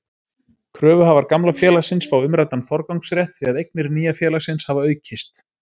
Kröfuhafar gamla félagsins fá umræddan forgangsrétt því að eignir nýja félagsins hafa aukist.